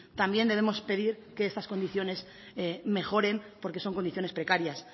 también debemos pedir que estas condiciones mejoren porque son condiciones precarias